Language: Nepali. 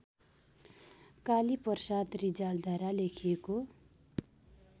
कालीप्रसाद रिजालद्वारा लेखिएको